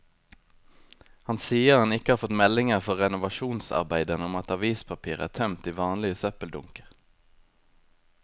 Han sier han ikke har fått meldinger fra renovasjonsarbeiderne om at avispapir er tømt i vanlige søppeldunker.